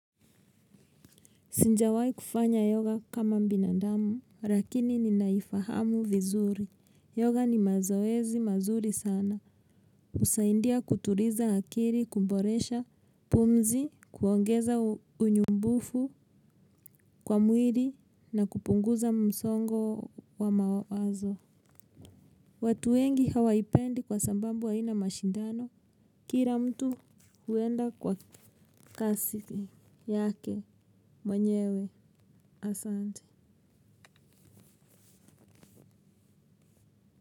Sijawahi kufanya yoga kama binadamu, lakini ninaifahamu vizuri. Yoga ni mazoezi mazuri sana. Husaidia kutuliza akili, kumboresha, pumzi, kuongeza unyumbufu kwa mwili na kupunguza msongo wa mawazo. Watu wengi hawaipendi kwa sababu aina mashindano. Kila mtu huenda kwa kasi yake mwenyewe asante.